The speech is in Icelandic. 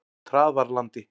Traðarlandi